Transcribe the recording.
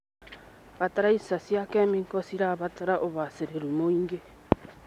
Bataraitha cia kĩmĩko cirabatara ũbacĩrĩru mũingĩ.